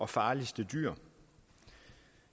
farligste dyr